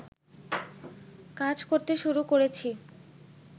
কাজ করতে শুরু করেছি